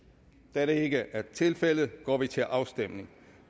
da det ikke er tilfældet går vi til afstemning